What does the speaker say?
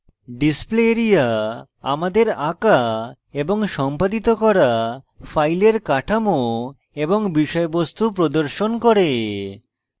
display area আমাদের আঁকা এবং সম্পাদিত করা file কাঠামো এবং বিষয়বস্তু প্রদর্শন করে